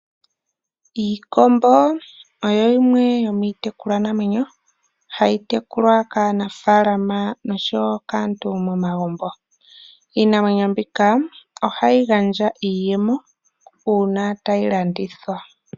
Iikombo oyo yimwe yomii tekulwa namwenyo, hayi tekulwa kaanafalama oshowo kaantu momagumbo. Iinamwenyo mbika ohayi gandja iiyemo uuna tayi landithwa.